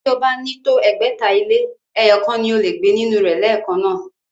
Bí ó bá ní tó ẹgbẹ̀ta ilé, ẹyọ̀kan ni o lè gbé inú rẹ̀ lẹ́ẹ̀kan náà